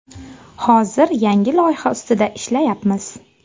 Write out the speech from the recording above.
Hozir yangi loyiha ustida ishlayapmiz.